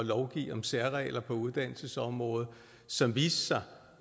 lovgive om særregler på uddannelsesområdet som viste sig